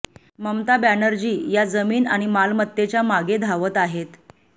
ममता बॅनर्जी या जमीन आणि मालमत्तेच्या मागे धावत आहेत